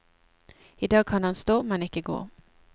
I dag kan han stå, men ikke gå.